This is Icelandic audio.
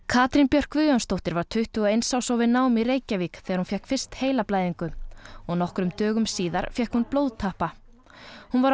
Katrín Björk Guðjónsdóttir var tuttugu og eins árs og við nám í Reykjavík þegar hún fékk fyrst heilablæðingu og nokkrum dögum síðar fékk hún blóðtappa hún var